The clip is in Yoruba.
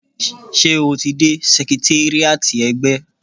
Ṣé o ti dé sẹkritéríátì ẹgbẹ́?